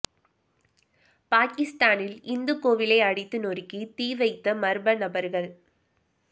பாகிஸ்தானில் இந்து கோவிலை அடித்து நொறுக்கி தீ வைத்த மர்ம நபர்கள்